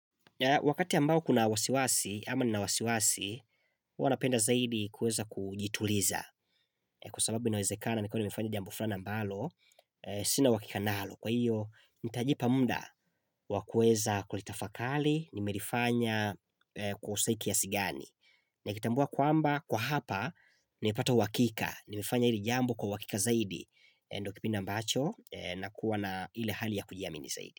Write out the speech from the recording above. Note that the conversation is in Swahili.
Wakati ambao kuna wasiwasi, ama nina wasiwasi, huwa napenda zaidi kueza kujituliza. Kwa sababu inawezekana, nikuwe nimefanya jambo flani ambalo, sina uhakika nalo. Kwa hiyo, nitajipa muda wa kueza kulitafakali, nimerifanya kosa hii kiasi gani. Nikitambua kwamba, kwa hapa, nimepata uhakika. Nimefanya hili jambo kwa uhakika zaidi. Ndo kipindi ambacho, nakuwa na ile hali ya kujiamini zaidi.